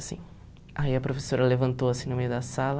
Aí a professora levantou assim no meio da sala...